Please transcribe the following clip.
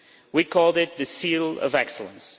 We called it the Seal of Excellence.